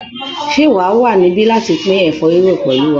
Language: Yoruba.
Ṣé wà á wà níbí láti pín ẹ̀fọ́ rírò pẹ̀lú wa?